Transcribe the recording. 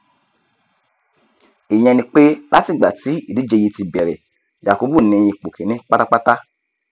ìyẹn ni pé láti ìgbà tí ìdíje yìí ti bẹrẹ yakubu ni ipò kíní pátápátá